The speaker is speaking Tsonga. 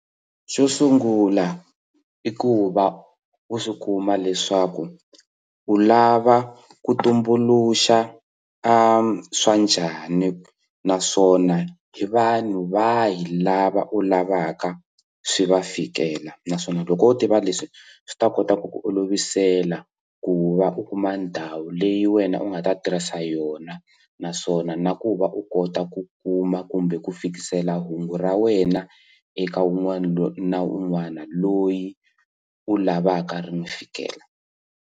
Xo sungula i ku va u swi kuma leswaku u lava ku tumbuluxa swa njhani naswona hi vanhu va hi lava u lavaka swi va fikela naswona loko u tiva leswi swi ta kota ku ku olovisela ku va u kuma ndhawu leyi wena u nga ta tirhisa yona naswona na ku va u kota ku kuma kumbe ku fikisela hungu ra wena eka un'wana na un'wana loyi u lavaka ri n'wi fikela.